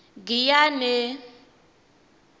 giyane